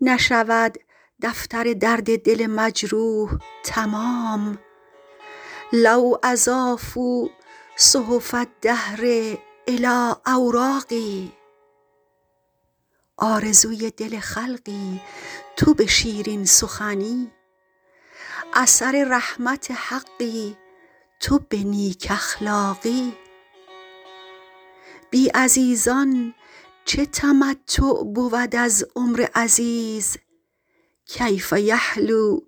نشود دفتر درد دل مجروح تمام لو اضافوا صحف الدهر الی اوراقی آرزوی دل خلقی تو به شیرین سخنی اثر رحمت حقی تو به نیک اخلاقی بی عزیزان چه تمتع بود از عمر عزیز کیف یحلو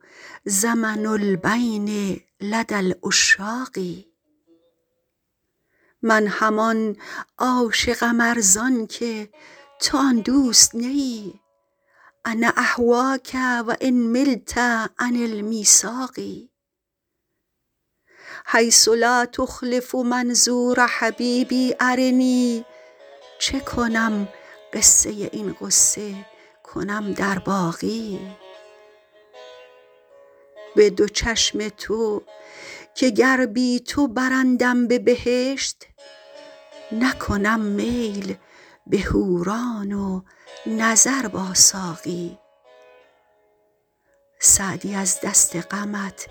زمن البین لدی العشاق من همان عاشقم ار زان که تو آن دوست نه ای انا اهواک و ان ملت عن المیثاق حیث لا تخلف منظور حبیبی ارنی چه کنم قصه این غصه کنم در باقی به دو چشم تو که گر بی تو برندم به بهشت نکنم میل به حوران و نظر با ساقی سعدی از دست غمت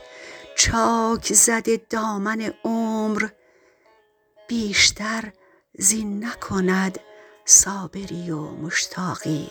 چاک زده دامن عمر بیشتر زین نکند صابری و مشتاقی